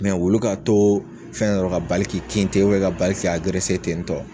Mɛ wulu ka to fɛn yɔrɔ ka bali k'i kin ten obiyɛn ka bali k'i agerese tentɔ